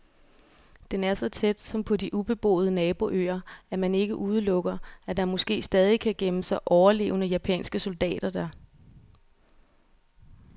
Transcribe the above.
Den er så tæt, som på de ubeboede naboøer, at man ikke udelukker, at der måske stadig kan gemme sig overlevende japanske soldater der.